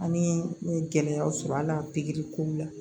Ani n ye gɛlɛyaw sɔrɔ a la pikiri kow la